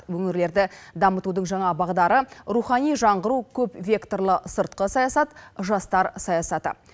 өңірлерді дамытудың жаңа бағдары рухани жаңғыру көпвекторлы сыртқы саясат жастар саясаты